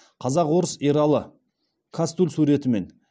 қазақ орыс ералы кастуль суретімен